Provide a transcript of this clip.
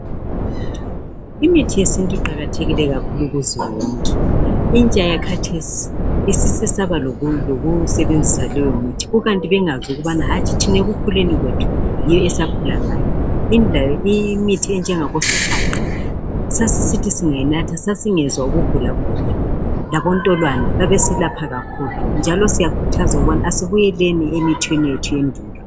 Imithi yesintu iqakathekile kakhulu kuzulu wonke. Intsha yakhathesi isisesaba lokusebenzisa leyomithi kukanti bengazi ukubana hatshi thina ekukhuleni kwethu yiyo esakhula ngayo .Imithi enjengabosihaqa sasisithi singayinatha sasingezwa ukugulagula labontolwane babesilapha kakhulu njalo siyakhuthaza ukuthi asibuyeleni emithini yethu yasendulo.